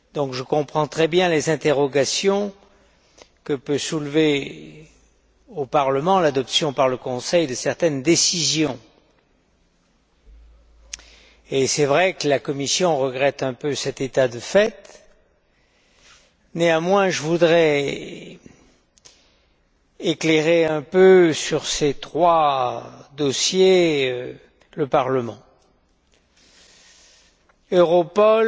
Je comprends donc très bien les interrogations que peut soulever, au Parlement, l'adoption, par le Conseil, de certaines décisions, et il est vrai que la Commission regrette un peu cet état de fait. Néanmoins, je voudrais éclairer un peu le Parlement sur ces trois dossiers. Europol,